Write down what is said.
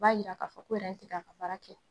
O b'a yira k'a fɔ ko ti ka a ka baara kɛ